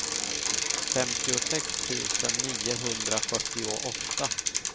femtiosex tusen niohundrafyrtioåtta